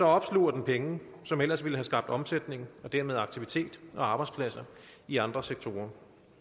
opsluger den penge som ellers ville have skabt omsætning og dermed aktivitet og arbejdspladser i andre sektorer